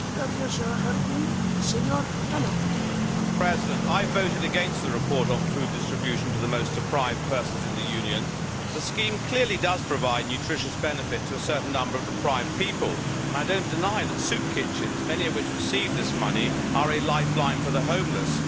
Mr President, I voted against the report on food distribution to the most deprived persons in the Union. The scheme clearly does provide nutritious benefit to a certain number of deprived people and I do not deny that soup kitchens, many of which receive this money, are a lifeline for the homeless.